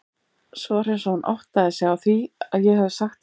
Svo var eins og hún áttaði sig á því að ég hefði sagt eitthvað.